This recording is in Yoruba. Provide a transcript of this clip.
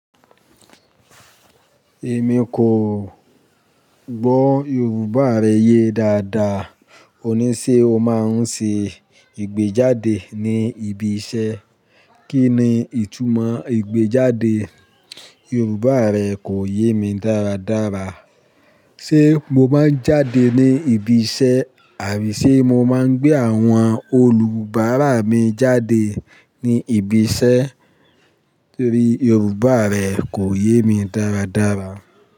Èmi kò gbọ́ Yorùbá rẹ yé dáadáa. Òní ṣe o máa ń ṣe ìgbéjáde ní ibi iṣẹ́? Kí ni ìtumọ̀ ìgbéjáde? Yorùbá rẹ kò yé mi dáradára. Ṣé mo máa ń jáde ní ibi iṣẹ́ àbí ṣe mo máa ń gbé àwọn olùbárà mi jáde ní ibi iṣẹ́? Torí Yorùbá rẹ kò yé mi dáradára.